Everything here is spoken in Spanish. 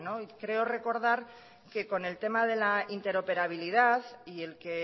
creo recordar que con el tema de la interoperabilidad y el que